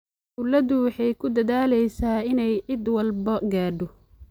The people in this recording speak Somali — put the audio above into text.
Dawladdu waxay ku dadaalaysaa inay cid walba gaadho.